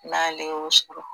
N'ale y'o sɔrɔ